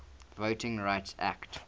voting rights act